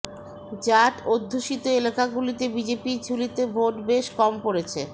জাঠ অধ্যুষিত এলাকাগুলিতে বিজেপির ঝুলিতে ভোট বেশ কম পড়েছে